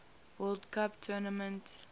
world cup tournament